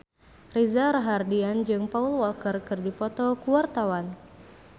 Reza Rahardian jeung Paul Walker keur dipoto ku wartawan